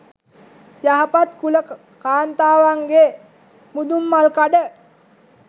යහපත් කුල කාන්තාවන්ගේ මුදුන්මල්කඩ